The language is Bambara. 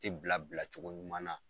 Tɛ bila bila cogo ɲuman na.